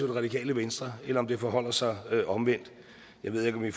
det radikale venstre eller om det forholder sig omvendt jeg ved ikke om vi